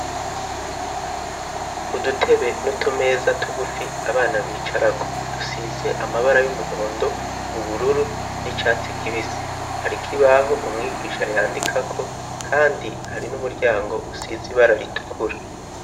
Udutebe n'utumeza tugufi abana bicara ko dusize amabara y'umuhondo ubururu n'icyatsi kibisi hari ko ibaho umwigisha yandika ko kandi hari n'umuryango usize ibara ritukura.